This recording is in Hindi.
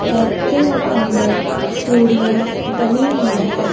घर के अंदर सीढ़ियां बनी हुई है।